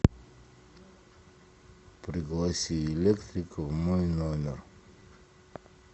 пригласи электрика в мой номер